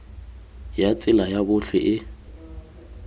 ya tsela ya botlhe e